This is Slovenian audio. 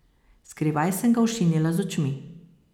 Skrivaj sem ga ošinila z očmi.